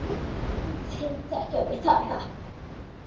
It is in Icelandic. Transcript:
Þeir þekkja mig þarna.